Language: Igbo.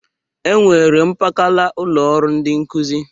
E nwere mpakala ụlọ ọrụ ndị nkụzị.